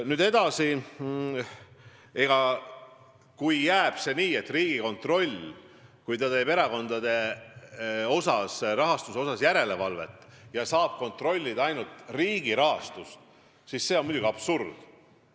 Nüüd edasi: kui see jääb nii, et Riigikontroll saab erakondade rahastuse üle järelevalvet tehes kontrollida ainult riigi rahastust, siis see on muidugi absurd.